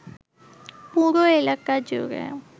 পুরো এলাকা জুড়ে